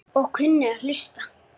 Og kunni að hlusta.